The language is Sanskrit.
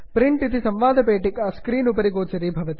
प्रिंट इति संवादपेटिका स्क्रीन् उपरि दृश्यते